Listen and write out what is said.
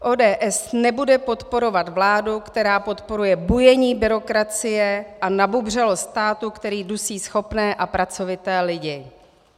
ODS nebude podporovat vládu, která podporuje bujení byrokracie a nabubřelost státu, který dusí schopné a pracovité lidi.